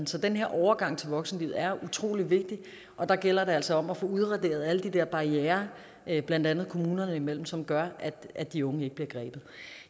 så den her overgang til voksenlivet er utrolig vigtig og der gælder det altså om at få udraderet alle de der barrierer blandt andet kommunerne imellem som gør at de unge ikke bliver grebet